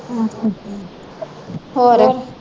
ਅੱਛਾ ਅੱਛਾ